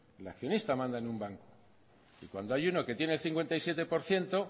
el accionista manda en un banco y cuando hay uno que tiene el cincuenta y siete por ciento